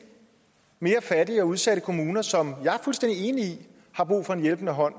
mere fattige og udsatte kommuner som jeg er fuldstændig enig i har brug for en hjælpende hånd